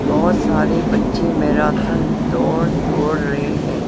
बहुत सारे बच्चे मैराथन दौड़ दौड़ रहे हैं।